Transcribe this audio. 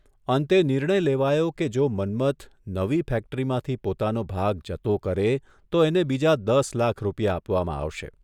અંતે નિર્ણય લેવાયો કે જો મન્મથ નવી ફેક્ટરીમાંથી પોતાનો ભાગ જતો કરે તો એને બીજા દસ લાખ રૂપિયા આપવામાં આવશે.